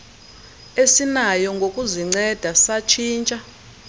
esinayo ngokuzinceda satshintsha